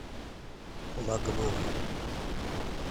лагман